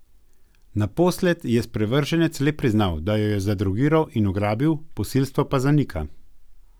Naposled je sprevrženec le priznal, da jo je zadrogiral in ugrabil, posilstvo pa zanika.